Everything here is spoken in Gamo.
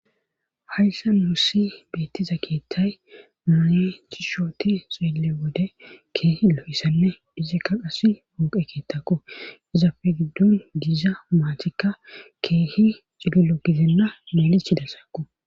hayssa nussi beettiza keetthay maane chishooti xoelle wode keehi lo7isanme dhizikka qasi hunqe keettaku izafe giddun diiza maatikka keehi cililo gizenna maalichi dassaaku